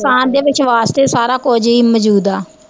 ਇਨਸਾਨ ਦੇ ਵਿਸ਼ਵਾਸ਼ ਤੇ ਸਾਰਾ ਕੁਜ ਈ ਮਜੂਦ ਆ